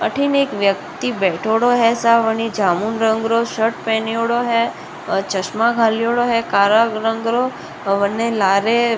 अठिन एक व्यक्ति बैठ्योड़ो है सावने जामुन रंग रो शर्ट पहनयोड़ो है और चश्मा घालेडो है काला रंग राे बने लारे --